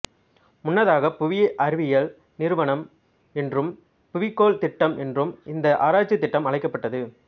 முன்னதாக புவி அறிவியல் நிறுவனம் என்றும் புவிக் கோள் திட்டம் என்றும் இந்த ஆராய்ச்சித் திட்டம் அழைக்கப்பட்டது